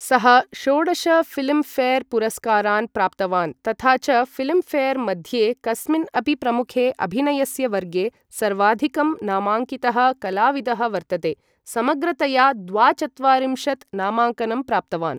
सः षोडश Filmfare पुरस्कारान् प्राप्तवान् तथा च फिल्म् फेर् मध्ये कस्मिन् अपि प्रमुखे अभिनयस्य वर्गे सर्वाधिकं नामाङ्कितः कलाविदः वर्तते, समग्रतया द्वाचत्वारिंशत् नामाङ्कनं प्राप्तवान्।